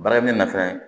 Baara min na fɛn